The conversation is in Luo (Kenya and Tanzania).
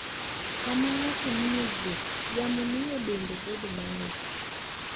Sama ng'ato ni e wuoth, yamo miyo dende bedo mang'ich.